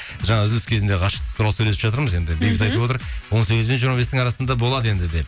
жаңа үзіліс кезінде ғашықтық туралы сөйлесіп жатырмыз енді бейбіт айтып отыр он сегіз бен жиырма бестің арасында болады енді деп